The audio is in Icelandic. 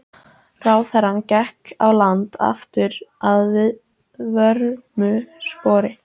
Ráðherrann gekk á land aftur að vörmu spori.